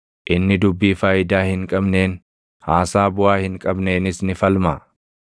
Inni dubbii faayidaa hin qabneen, haasaa buʼaa hin qabneenis ni falmaa?